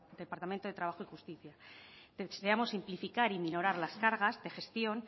departamento de trabajo y justicia deseamos simplificar y minorar las cargas de gestión